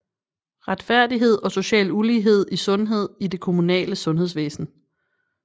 Retfærdighed og social ulighed I sundhed i det kommunale sundhedsvæsen